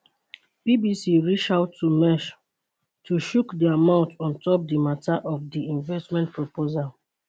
bbc reach out to maersk to chook dia mouth on top di mata of di investment proposal